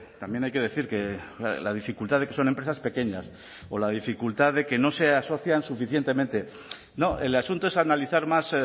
también hay que decir que la dificultad de que son empresas pequeñas o la dificultad de que no se asocian suficientemente no el asunto es analizar más